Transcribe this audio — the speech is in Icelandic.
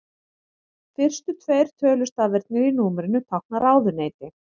Fyrstu tveir tölustafirnir í númerinu tákna ráðuneyti.